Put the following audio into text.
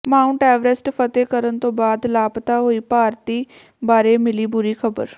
Mount Everest ਫਤਹਿ ਕਰਨ ਤੋਂ ਬਾਅਦ ਲਾਪਤਾ ਹੋਏ ਭਾਰਤੀ ਬਾਰੇ ਮਿਲੀ ਬੁਰੀ ਖਬਰ